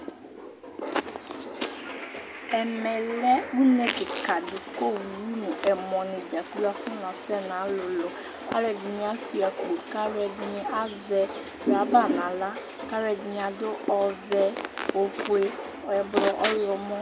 Ɛmɛlɛ ʋne kikaɖi kʋ owu ŋu ɛmɔ ni dzakplo afɔna sɛ Alʋɛdìní ajʋa akpo kʋ alʋɛdìní azɛ ɖaba ŋu aɣla Alʋɛdìní aɖu ɔvɛ, ɔfʋe, ɛblɔ